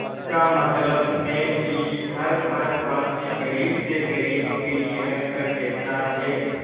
इसका मतलब है कि हर भारतवासी गरीब से गरीब भी यह कर देता है